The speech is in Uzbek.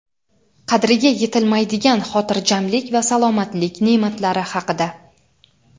Qadriga yetilmaydigan xotirjamlik va salomatlik ne’matlari haqida.